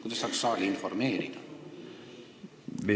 Kuidas saaks saali informeerida?